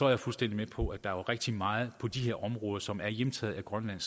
er fuldstændig med på at der så er rigtig meget på de områder som er hjemtaget af grønland